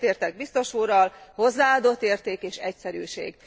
Egyetértek biztos úrral, hozzáadott érték és egyszerűség.